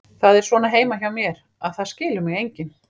Það er svona heima hjá mér, að það skilur mig enginn.